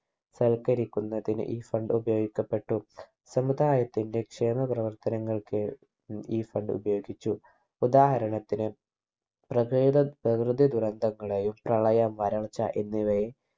സൽക്കരിക്കുന്നതിന് ഈ Fund ഉപയോഗിക്കപ്പെട്ടു സമുദായത്തിന്റെ ക്ഷേമ പ്രവർത്തനങ്ങൾക്ക് ഉം ഈ Fund ഉപയോഗിച്ചു ഉദാഹരണത്തിന് പ്രകേത പ്രകൃതി ദുരന്തങ്ങളെയും പ്രളയം വളർച്ച എന്നിവയെയും